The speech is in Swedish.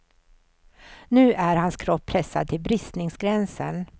Nu är hans kropp pressad till bristningsgränsen.